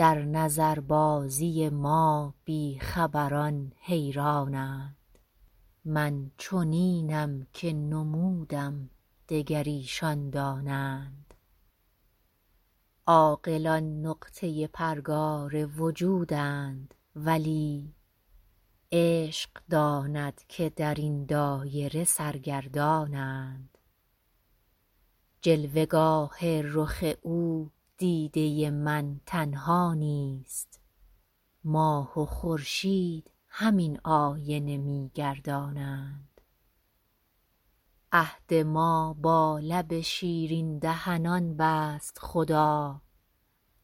در نظربازی ما بی خبران حیران اند من چنینم که نمودم دگر ایشان دانند عاقلان نقطه پرگار وجودند ولی عشق داند که در این دایره سرگردان اند جلوه گاه رخ او دیده من تنها نیست ماه و خورشید همین آینه می گردانند عهد ما با لب شیرین دهنان بست خدا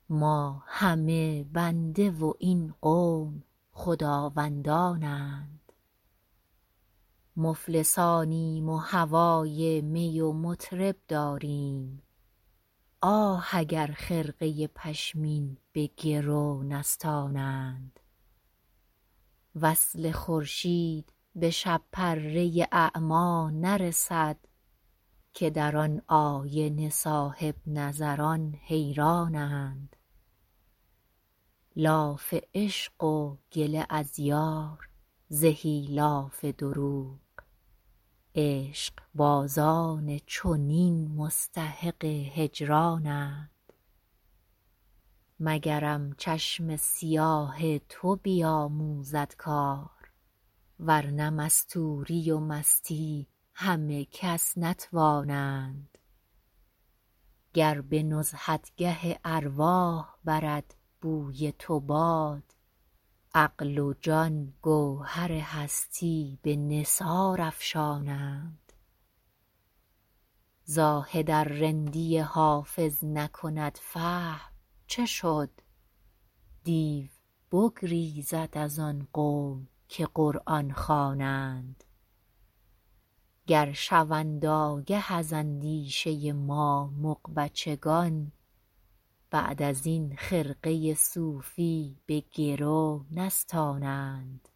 ما همه بنده و این قوم خداوندان اند مفلسانیم و هوای می و مطرب داریم آه اگر خرقه پشمین به گرو نستانند وصل خورشید به شب پره اعمی نرسد که در آن آینه صاحب نظران حیران اند لاف عشق و گله از یار زهی لاف دروغ عشق بازان چنین مستحق هجران اند مگرم چشم سیاه تو بیاموزد کار ورنه مستوری و مستی همه کس نتوانند گر به نزهتگه ارواح برد بوی تو باد عقل و جان گوهر هستی به نثار افشانند زاهد ار رندی حافظ نکند فهم چه شد دیو بگریزد از آن قوم که قرآن خوانند گر شوند آگه از اندیشه ما مغ بچگان بعد از این خرقه صوفی به گرو نستانند